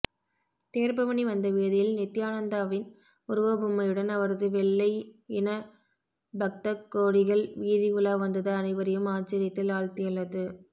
தேர்பவனி வந்த வீதியில் நித்தியானந்தாவின் உருவப்பொம்மையுடன் அவரது வெள்ளையின பக்தகோடிகள் வீதி உலா வந்தது அனைவரையும் ஆச்சரியத்தில் ஆழ்த்தியுள்ளது